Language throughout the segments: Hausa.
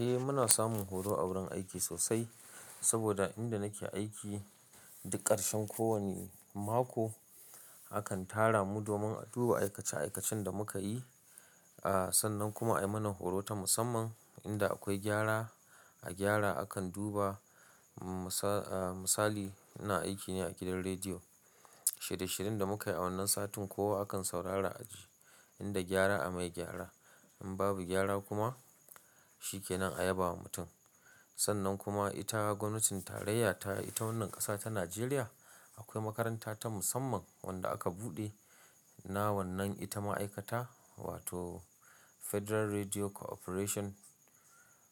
Eh muna samun horo a wurin aiki sosai, saboda inda nake aiki duk ƙarshen ko wani mako akan tara mu domin a duba aikace-aikacen da muka yi. Aaa sannan kuma a yi mana horo ta musamman inda akwai gyara. A gyara akan duba. Misali ina aiki ne a gidan rediyo, shirye-shiryen da muka yi a wannan satin ko akan saurara a ji. Inda gyara a mai gyara, in babu gyara kuma shi ke nan a yabawa mutum. Sannan kuma ita gwamnatin tarayya ta ita wannan ƙasa ta Najeriya akwai makaranta ta musamman wanda aka buɗe na wannan ita ma'aikata wato Federal Radio Cooperation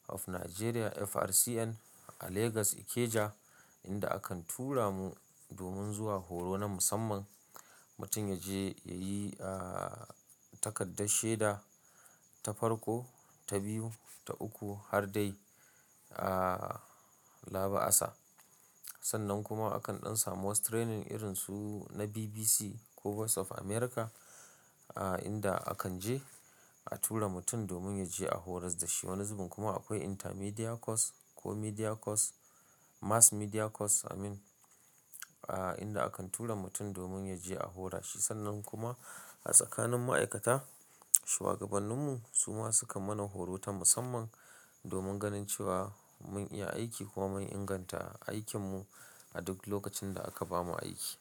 of Nigeria FRCN a Legas Ikeja inda akan tura mu domin zuwa horo na musamman. Mutum ya je ya yi aa takardar shaida, ta farko, ta biyu, ta uku har dai aaa laba'asa. Sannan kuma akan ɗan samu wasu training irin su na BBC ko Voice of America aa inda akan je a tura mutum domin ya je a horas da shi. Wani zubin kuma akwai Intermedia Course ko Media Course, Mass Media Course amin aa inda akan tura mutum domin ya je a hora shi. Sannan kuma a tsakanin ma'aikata shuwagabanninmu su ma sukan mana horo ta musamman domin ganin cewa mun iya aiki ko mun inganta aikinmu a duk lokacin da aka bamu aiki.